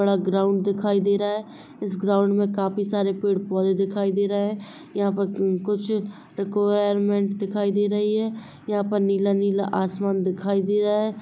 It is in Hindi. बड़ा ग्राउंड दिखाई दे रहा है इस ग्राउंड में काफी सारे पेड़-पोधे दिखाई दे रहे है यहा पे कुछ दिखाई दे रही है यहा पर नीला-नीला आसमान दिखाई दे रहा हैं।